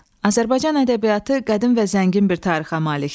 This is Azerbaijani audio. Azərbaycan ədəbiyyatı qədim və zəngin bir tarixə malikdir.